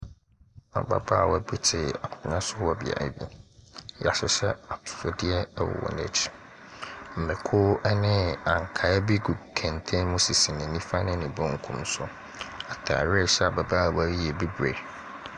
Abaabawa bi ti akonnwa so wɔ biaɛ bi. Yahyihyɛ atusudiɛ wɔ nekyi. Mako ne ankaa wɔ kɛntɛn mu sisi ne nifa ne nebenkum so. Atari a ɛhyɛ abaabawa yi yɛ bibri.